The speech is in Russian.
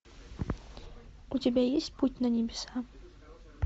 у тебя есть путь на небеса